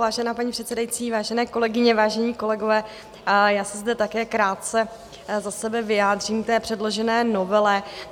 Vážená paní předsedající, vážené kolegyně, vážení kolegové, já se zde také krátce za sebe vyjádřím k předložené novele.